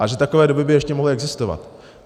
A že takové domy by ještě mohly existovat.